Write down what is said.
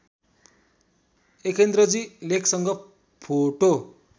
एकेन्द्रजी लेखसँग फोटो